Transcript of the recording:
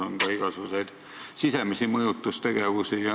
On ka igasugust sisemist mõjutustegevust.